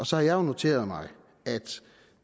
så har jeg noteret mig at